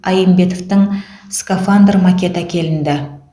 айымбетовтің скафандр макеті әкелінді